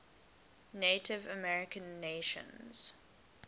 native american nations